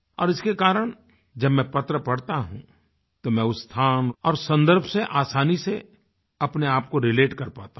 और इसके कारण जब मैं पत्र पढ़ता हूँ तो मैं उस स्थान और सन्दर्भ से आसानी से अपने आप को रिलेट कर पाता हूँ